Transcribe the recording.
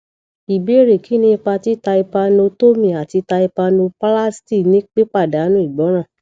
ìbéèrè kini ipa ti tympanotomy ati tympanoplasty ni pipadanu igboran